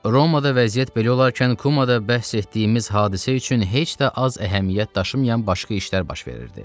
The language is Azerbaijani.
Romada vəziyyət belə olarkən Kumada bəhs etdiyimiz hadisə üçün heç də az əhəmiyyət daşımayan başqa işlər baş verirdi.